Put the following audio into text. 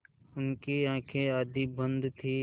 उनकी आँखें आधी बंद थीं